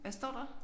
Hvad står der?